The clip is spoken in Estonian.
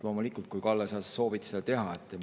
Loomulikult, kui, Kalle, sa soovid seda teha …